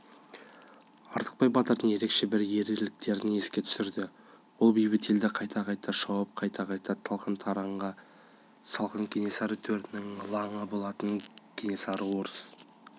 артықбай батырдың ерекше бір ерліктерін еске түсірді ол бейбіт елді қайта-қайта шауып қайта-қайта талан-таражға салған кенесары төренің лаңы болатын кенесары орыс